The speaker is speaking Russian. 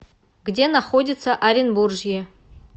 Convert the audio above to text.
где находится оренбуржье